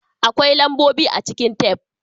Akwai lambobi a cikin tef.